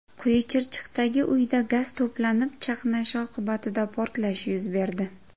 Quyichirchiqdagi uyda gaz to‘planib chaqnashi oqibatida portlash yuz berdi.